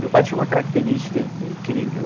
Meu pai tinha uma característica incrível.